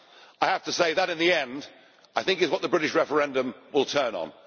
I have to say that, in the end, I think it is what the British referendum will turn on.